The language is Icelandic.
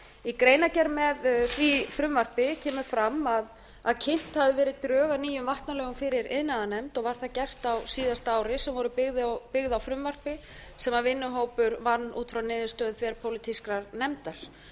í greinargerð með því frumvarpi kemur fram að kynnt hafi verið drög að nýjum vatnalögum fyrir iðnaðarnefnd var það gert á síðasta ári sem voru byggð á frumvarpi sem vinnuhópur vann út frá niðurstöðum þverpólitískrar nefndar